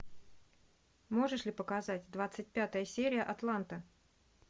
можешь ли показать двадцать пятая серия атланта